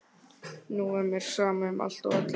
Nú var mér sama um allt og alla.